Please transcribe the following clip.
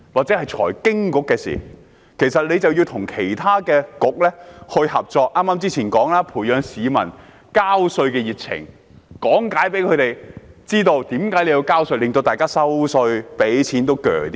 正如剛才所說，該局應與其他政策局合作，培養市民交稅的熱情，向他們講解為何要交稅，令大家繳稅也比較心甘情願。